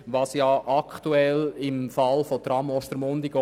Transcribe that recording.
Dies ist beispielsweise bei der Tram-Abstimmung geschehen.